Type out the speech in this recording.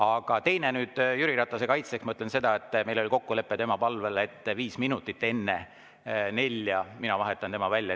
Aga teine asi, Jüri Ratase kaitseks ma ütlen seda, et meil oli tema palvel kokkulepe, et viis minutit enne nelja vahetan mina tema välja.